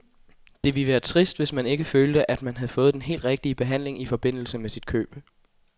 Det ville være trist, hvis man ikke følte, at man havde fået den helt rigtige behandling i forbindelse med sit køb.